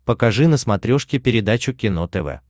покажи на смотрешке передачу кино тв